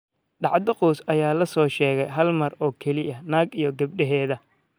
Dhacdo qoys ayaa la soo sheegay hal mar oo kaliya, naag iyo gabadheeda.